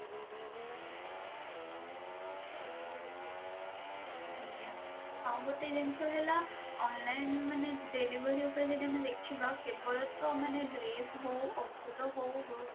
ଆଜ୍ଞା ଆଉ ଗୋଟେ ଜିନିଷ ହେଲା online ମାନେ delivery ଉପରେ ଯଦି ଆମେ ଦେଖିବା କେବଳ ତ ମାନେ dress ହଉ ଔଷଧ ହଉ